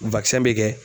bɛ kɛ